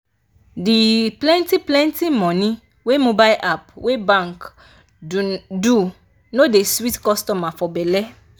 di plenty-plenty money wey mobile app wey bank do no dey sweet customers for belle.